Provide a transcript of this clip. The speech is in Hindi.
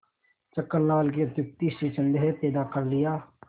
छक्कन लाल की अत्युक्ति से संदेह पैदा कर लिया